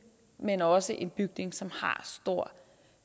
men også om en bygning som har stor